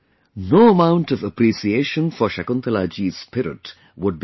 No amount of appreciation forShakuntalaji'sspiritwould be enough